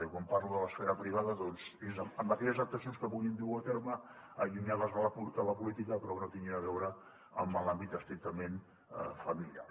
i quan parlo de l’esfera privada doncs és amb aquelles actuacions que puguin dur a terme allunyades de la política però que no tinguin a veure amb l’àmbit estrictament familiar